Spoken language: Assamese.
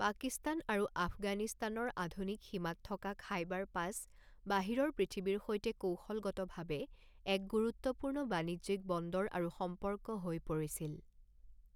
পাকিস্তান আৰু আফগানিস্তানৰ আধুনিক সীমাত থকা খাইবাৰ পাছ বাহিৰৰ পৃথিৱীৰ সৈতে কৌশলগতভাৱে এক গুৰুত্বপূৰ্ণ বাণিজ্যিক বন্দৰ আৰু সম্পৰ্ক হৈ পৰিছিল।